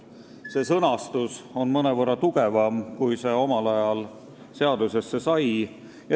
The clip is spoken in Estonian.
See sõnastus on mõnevõrra tugevam kui see, mis omal ajal seadusesse sai.